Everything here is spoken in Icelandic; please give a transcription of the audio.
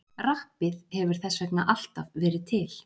Rappið hefur þess vegna alltaf verið til.